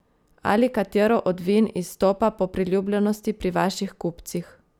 Ali katero od vin izstopa po priljubljenosti pri vaših kupcih?